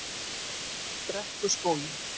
Brekkuskógi